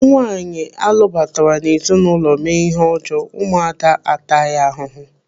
Nwaanyi alụbatara n'ezinụlọ mee ihe ọjọọ, ụmụ ada ataya ahụhụ.